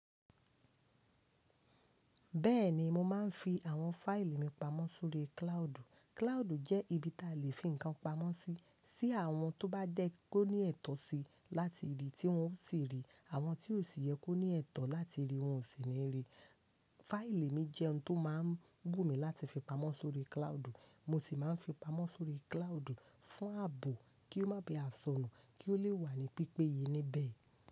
Bẹ́ẹ̀ni, mo máa ń fi àwọn fáìlì mi pamọ́ sórí cloud. Cloud jẹ́ ibi tí a lè fi nǹkan pamọ́ sí, tí àwọn tó bá jẹ́ kó ní ẹ̀tọ́ sí láti rí, tí wọ́n ó sì rí, àwọn tí ò sì yẹ kó ní ẹ̀tọ́ láti rí, wọ́n ò sì ní rí. Fáìlì mi jẹ́ ohun tó máa ń wù mí láti fi pamọ́ sórí cloud, mo sì máa ń fi pamọ́ sórí cloud fún ààbò kí ó má ba à sọnù, kí ó lè wà ní pípé ye níbẹ̀